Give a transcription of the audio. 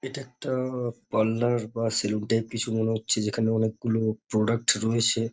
এটা একটা আ-আ পার্লার বা সেলুন টাপই কিছু মনে হচ্ছে যেখানে অনেকগুলো প্রোডাক্ট রয়েছে।